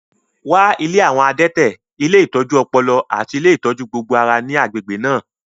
Wá ilé àwọn adẹ́tẹ̀, ilé ìtọ́jú ọpọlọ, àti ilé ìtọ́jú gbogbo ara ní agbègbè náà